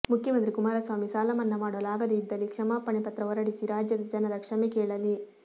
ಮುಖ್ಯಮಂತ್ರಿ ಕುಮಾರಸ್ವಾಮಿ ಸಾಲಮನ್ನಾ ಮಾಡಲು ಆಗದೆ ಇದ್ದಲ್ಲಿ ಕ್ಷಮಾಪಣೆ ಪತ್ರ ಹೊರಡಿಸಿ ರಾಜ್ಯದ ಜನರ ಕ್ಷಮೆ ಕೇಳಲಿ